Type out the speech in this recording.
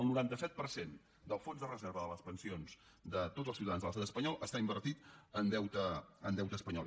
el noranta set per cent del fons de reserva de les pensions de tots els ciutadans de l’estat espanyol està invertit en deute espanyol